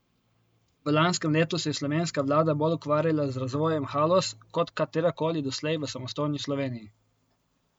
V lanskem letu se je slovenska vlada bolj ukvarjala z razvojem Haloz kot katerakoli doslej v samostojni Sloveniji.